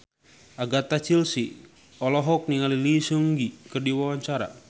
Agatha Chelsea olohok ningali Lee Seung Gi keur diwawancara